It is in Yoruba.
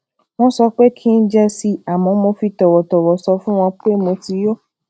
wón sọ pé kí n jẹ si àmó mo fi tòwòtòwò sọ fún wọn pé mo ti yó